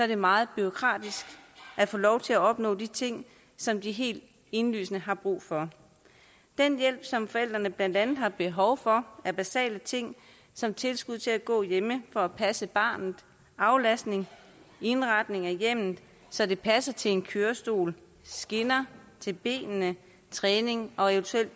det meget bureaukratisk at få lov at opnå de ting som de helt indlysende har brug for den hjælp som forældrene blandt andet har behov for er basale ting som tilskud til at gå hjemme for at passe barnet aflastning indretning af hjemmet så det passer til en kørestol skinner til benene træning og eventuelt